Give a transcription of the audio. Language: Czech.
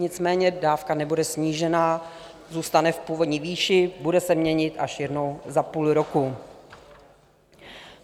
Nicméně dávka nebude snížena, zůstane v původní výši, bude se měnit až jednou za půl roku.